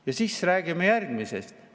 Ja siis räägime järgmisest.